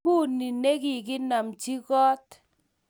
nguni kokikinamchi koot